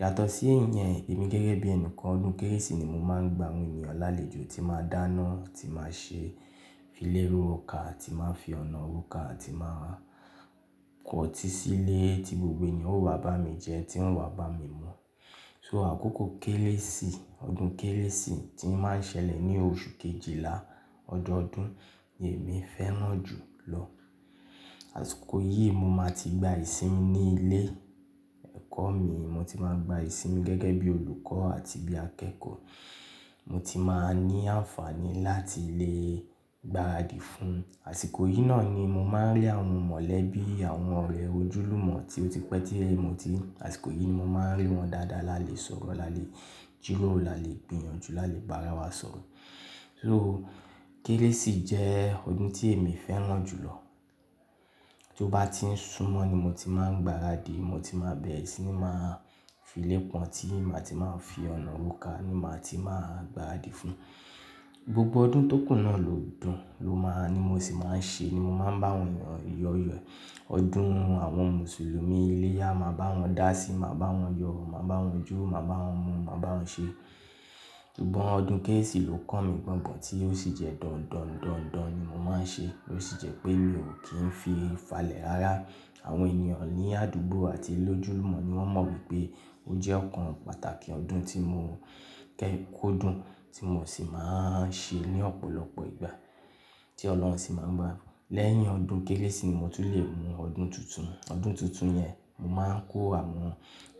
Yàtọ̀ sí ìyẹn, èmi gẹ́gẹ́ bí ẹnìkan, ọdún kérésì ni mo máa n gba àwọn ènìyàn lálejò tí máa dáná, tí máa ṣe fílé ro ká, tí máa fi ọ̀nà roka ti máa kọtí sílé tí gbogbo ènìyàn ó wá bá mi jẹ, tí wọ́n wá bá mi mu. So àkókò kérésì, ọdún kérésì tí ń máa n ṣẹlẹ̀ ní oṣù Kejìlá ọdọọdún ni èmi fẹ́ràn jù lọ. Àsìkò yìí mo máa ti gba ìsinmi ní ilé ẹ̀kọ́ mi, mo ti máa gba ìsinmi gẹ́gẹ́ bí olùkọ́ àti bí akẹ́kọ̀ọ́. Mo ti máa ní àǹfààní láti lè gbaradì fún. Àsìkò yìí náà ni mo máa n rí àwọn mọ̀lẹ́bí, àwọn ọ̀rẹ́ ojúlùmọ̀ tí ó ti pẹ́ tí mò tíì rí, àsìkò yìí ni mo máa n rí wọn dáadáa. Lá le sọ̀rọ̀, lá le jíró, lá le gbìyànjú, lá le bá ara wa sọ̀rọ̀. So kérésì jẹ́ ọdún tí èmi fẹ́ràn jù lọ. Tí ó bá ti ń súnmọ́ ni mo ti máa n gbaradì, mo ti máa bẹ̀rẹ̀ sí ní máa fílé pọ́n tí ma ti máa fi ọ̀nà roká ni ma ti máa gbaradì fún. Gbogbo ọdún tó kùú náà lọ́dún, ni mo sì máa ń ṣe, ni mo máa bàwọn èyàn yóòrì rẹ̀ ọdún àwọn Mùsùlùmí, iléyá máa bá wọn dá sí, máa bá wọn yọ, máa bá wọn jó, máa bá wọn mu, máa bá wọn ṣe. Ṣùgbọ́n ọdún kérésì ló kàn mí gbọ̀ngàn tí ó sì jẹ́ dọ̀ndọ̀ndọ̀ndọ̀n ni mo máa n ṣe ló sì jẹ́ pé mi ò kí n fi falẹ̀ rárá. Àwọn ènìyàn ní àdúgbò àti lójúlùmọ̀ ni wọ́n mọ̀ wípé ó jẹ́ ọ̀kan pàtàkì ọdún tí mo kọ́dún tí mo sì máa n ṣe ní ọ̀pọ̀lọpọ̀ ìgbà tí Ọlọ́run sì máa ń bá. Lẹ́yìn ọdún kérésì ni mo tún le mú ọdún tuntun. Ọdún tuntun yẹn, mo máa ń kó àwọn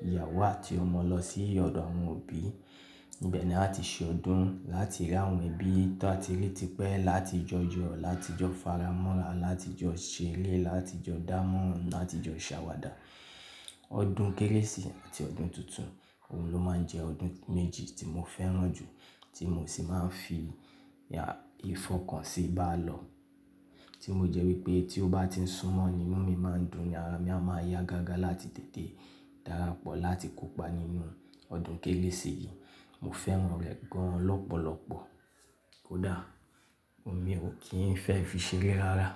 ìyàwó àti ọmọ lọ sí ọ̀dọ̀ àwọn òbí. Níbẹ̀ ni a ti ṣe ọdún láá ti rí àwọn ẹbí tàá ti rí ti pẹ́, láti jọ yọ, láti jọ faramọ́ra, láti jọ ṣeré, láti jọ dámọ́ra, láti jọ ṣàwàdà. Ọdún kérésì àti ọdún tuntun òhun ló máa ń jẹ́ ọdún méjì tí mo fẹ́ràn jù tí mo sì máa ń fi ìfọkàn sí báálọ̀ tí mo jẹ́ wípé tí ó bá ti ń súnmọ́ ni inú mi máa n dùn ni ara mi a máa yá gágá láti tètè darapọ̀ láti kópa nínú ọdún kérésì yìí. Mo fẹ́ràn rẹ̀ gan lọ́pọ̀lọpọ̀. Kódà ó mi ò kí n fẹ́ fi ṣeré rárá.